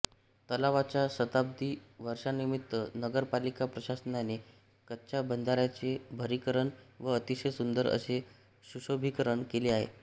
तलावाच्या शताब्दी वर्षानिमित्त नगरपालिका प्रशासनाने कच्च्या बंधाऱ्याचे भरीकरण व अतिशय सुंदर असे सुशोभीकरण केले आहे